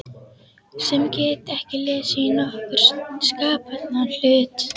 Sem get ekki lesið í nokkurn skapaðan hlut.